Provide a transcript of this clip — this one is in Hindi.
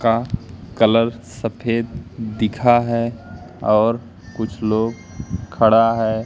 का कलर सफेद दिखा है और कुछ लोग खड़ा है।